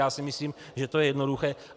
Já si myslím, že to je jednoduché.